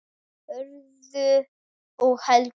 Hörður og Helga skildu.